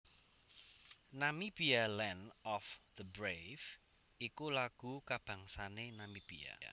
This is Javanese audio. Namibia Land of the Brave iku lagu kabangsané Namibia